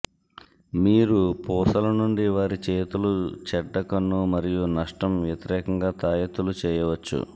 మీరు పూసలు నుండి వారి చేతులు చెడ్డ కన్ను మరియు నష్టం వ్యతిరేకంగా తాయెత్తులు చేయవచ్చు